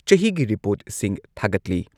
ꯆꯍꯤꯒꯤ ꯔꯤꯄꯣꯔꯠꯁꯤꯡ ꯊꯥꯒꯠꯂꯤ꯫